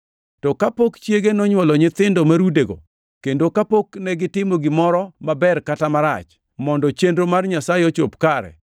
To kapok chiege nonywolo nyithindo marudego, kendo kapok negitimo gimoro maber kata marach, mondo chenro mar Nyasaye ochop kare